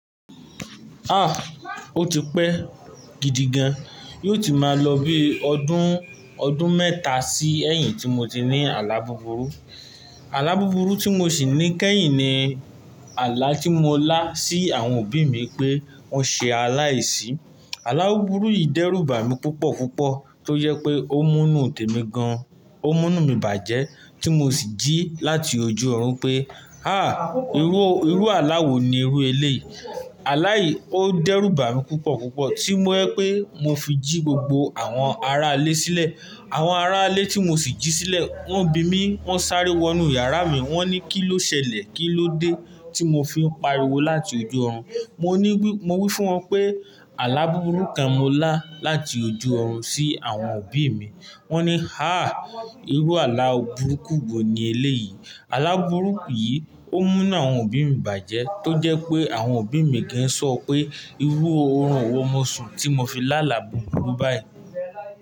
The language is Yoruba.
Ah! O ti pẹ́ gidi gan. Yóò ti máa lọ bí ọdún, ọdún mẹ́ta sí ẹ̀yìn tí mo ti ní alábùburú. Alábùburú tí mo sì ní kẹ́yìn ni, àlá tí mo lá sí àwọn òbí mi pé wọ́n ṣe aláìsí. Alábùburú yìí dẹ́rù bà mí púpọ̀ púpọ̀ tó jẹ pé ó mú inú tèmi gan, ó mú inú mi bàjẹ́ tí mo sì jí láti ojú orun pé, "hà! Irú, irú àlá wo ni irú eléyìí?" Àlá yìí ó dẹ́rù bà mí púpọ̀ púpọ̀ tí mo ẹ pé mo fi jí gbogbo àwọn ará ilé sílẹ̀. Àwọn ará ilé tí mo sì jí sílẹ̀ wọ́n bi mí, wọ́n sáré wọnú yàrá mi. Wọ́n ní, "kí ló ṣẹlẹ̀? Kí ló dé?" tí mo fi ń pariwo láti ojú ọ̀run. Mo ní wí, mo wí fún wọn pé alábùburú kan mo lá láti ojú ọ̀run sí àwọn òbí mi. Wọ́n ní, "hà! Irú àlá burúkú wo ni eléyìí?" Alábùburú yìí ó mú náà àwọn òbí mi bàjẹ́ tó jẹ́ pé àwọn òbí mi gan sọ pé irú orun wo mo sun tí mo fi lá àlá bùburú báyìí.